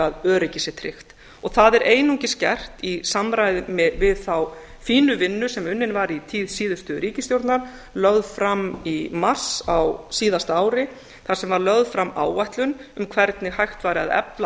að öryggi sé tryggt það er einungis gert í samræmi við þá fínu vinnu sem unnin var í tíð síðustu ríkisstjórnar lögð fram í mars á síðasta ári þar sem var lögð fram áætlun um hvernig hægt væri að efla